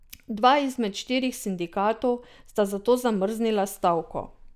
Dva izmed štirih sindikatov sta zato zamrznila stavko.